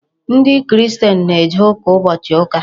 Ndị Christian na-eje ụka ụbọchị ụka.